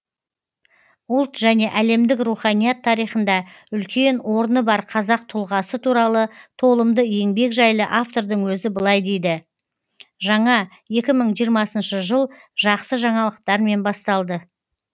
ұлт және әлемдік руханият тарихында үлкен орны бар қазақ тұлғасы туралы толымды еңбек жайлы автордың өзі былай дейді жаңа екі мың жиырма жыл жақсы жаңалықтармен басталды